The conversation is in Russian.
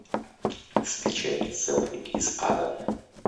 скачай селфи из ада